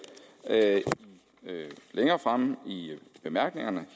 længere fremme i bemærkningerne